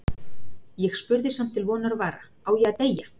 Ég spurði samt til vonar og vara: Á ég að deyja?